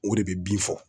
O de bɛ bin fɔ